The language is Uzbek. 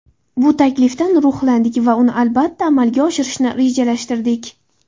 Bu taklifdan ruhlandik va uni albatta, amalga oshirishni rejalashtirdik.